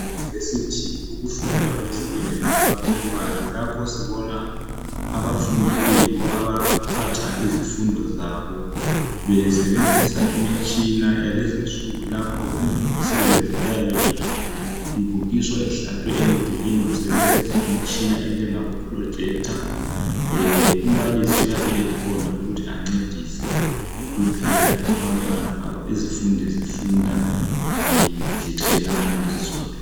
Ema univesithi ukufunda akufana lokwe primary lapha sibona abafundi abayibo abaphatha izifundo zabo besebenzisa imitshina yakulezo insuku lapha imisebenzi eyabe ibukiswa ihlatshwe emdulwini besebenzisa umtshina enjengabo projector umbalisi uyabe khona ukuthi ancedise kuphela izifundi zifunda zitshelana zodwa.